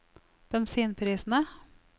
bensinprisene